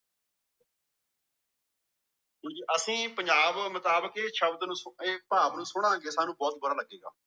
ਅਸੀਂ ਪੰਜਾਬ ਮੁਤਾਬਿਕ ਇਹ ਸ਼ਬਦ ਨੂੰ ਇਹ ਪਾਭ ਨੂੰ ਸੁਣਾਂਗੇ ਸਾਨੂ ਬਹੁਤ ਬੁਰਾ ਲਗੇਗਾ